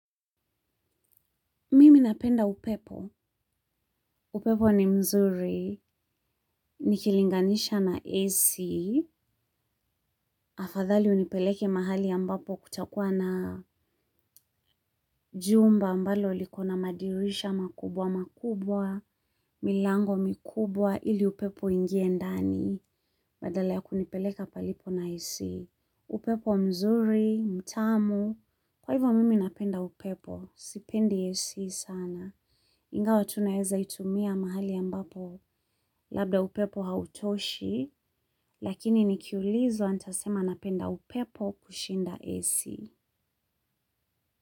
Mimi napenda upepo, upepo ni mzuri, nikilinganisha na AC, afadhali unipeleke mahali ambapo kutakuwa na jumba ambalo liko na madirisha makubwa makubwa, milango mikubwa, ili upepo ingie ndani, badala ya kunipeleka palipo na AC. Upepo mzuri, mtamu, kwa hivyo mimi napenda upepo, sipendi AC sana. Ingawa tu naeza itumia mahali ambapo, labda upepo hautoshi, lakini nikiulizwa nitasema napenda upepo kushinda AC.